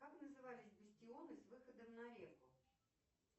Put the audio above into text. как назывались бастионы с выходом на реку